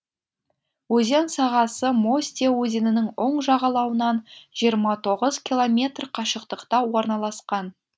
өзен сағасы мостья өзенінің оң жағалауынан жиырма тоғыз километр қашықтықта орналасқан